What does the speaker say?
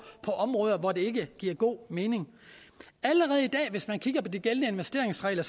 på områder hvor det ikke giver god mening allerede i dag hvis man kigger på de gældende investeringsregler